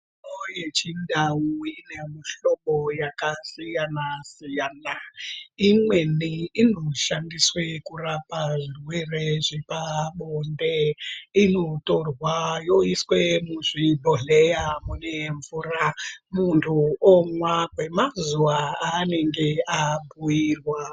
Mitombo yechindau ine mihlobo yakasiyana-siyana, imweni inoshandiswa kurapa zvirwere zvepabonde. Inotorwa yoiswe muzvibhodhleya mune mvura, muntu omwa kwemazuwa aanenge abhuirwa.